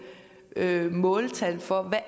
måltal for hvad